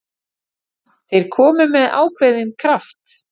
Þeir komu með ákveðinn kraft.